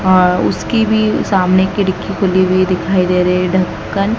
आह उसकी भी सामने खिड़की खुली हुई दिखाई दे रहे है ढकन--